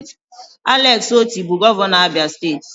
Alex Oti bụ gọvanọ Abia steeti